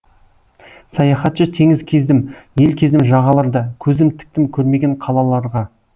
саяхатшы теңіз кездім ел кездім жағаларда көзім тіктім көрмеген қалаларға